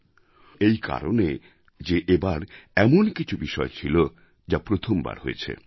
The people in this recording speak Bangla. বৈশিষ্ট্যপূর্ণ এই কারণে যে এবার এমন কিছু বিষয় ছিল যা প্রথমবার হয়েছে